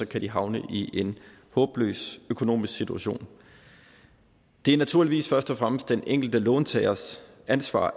kan de havne i en håbløs økonomisk situation det er naturligvis først og fremmest den enkelte låntagers ansvar